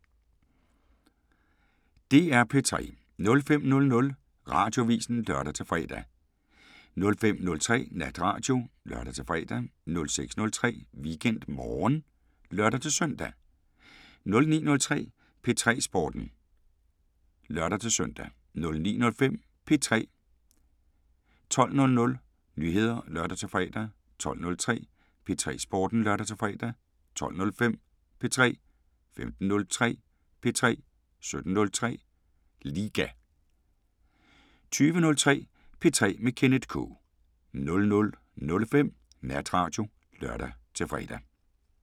DR P3